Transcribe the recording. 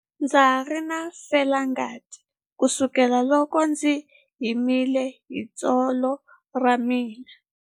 Ndza ha ri na felangati kusukela loko ndzi himile hi tsolo ra mina.